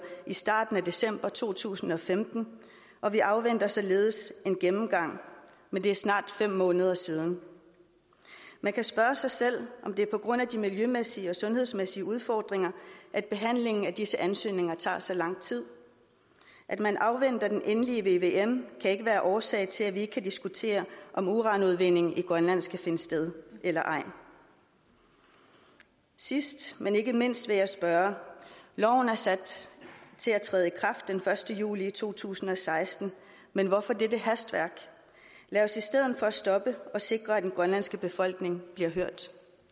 i starten af december to tusind og femten og vi afventer således en gennemgang men det er snart fem måneder siden man kan spørge sig selv om det er på grund af de miljømæssige og sundhedsmæssige udfordringer at behandlingen af disse ansøgninger tager så lang tid at man afventer den endelige vvm kan ikke være årsag til at vi ikke kan diskutere om uranudvinding i grønland skal finde sted eller ej sidst men ikke mindst vil jeg spørge loven er sat til at træde i kraft den første juli to tusind og seksten men hvorfor dette hastværk lad os i stedet for stoppe og sikre at den grønlandske befolkning bliver hørt